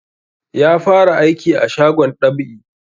Ya fara aiki a shagon dab'i